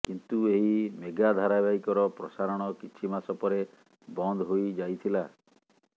କିନ୍ତୁ ଏହି ମେଗା ଧାରାବାହିକର ପ୍ରସାରଣ କିଛି ମାସପରେ ବନ୍ଦ ହୋଇଯାଇଥିଲା